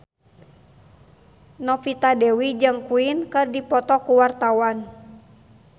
Novita Dewi jeung Queen keur dipoto ku wartawan